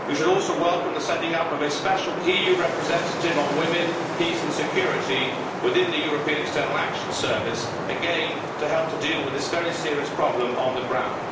We should also welcome the setting up of a special EU representative on women, peace and security within the European External Action Service, again to help to deal with this very serious problem on the ground.